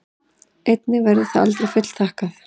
Einnig það verður aldrei fullþakkað.